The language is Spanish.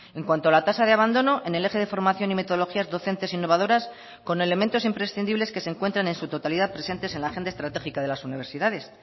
en cuanto a la tasa de abandono en el eje de formación y metodologías docentes innovadoras con elementos imprescindibles que se encuentran en su totalidad presentes en la agenda estratégica de las universidades